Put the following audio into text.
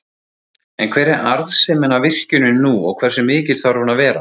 En hver er arðsemin af virkjuninni nú og hversu mikil þarf hún að vera?